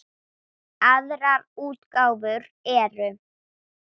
Aðrar útgáfur eru